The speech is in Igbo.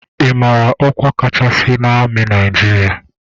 Ị mara ọkwa kachasị n'amị Naịjịrịa?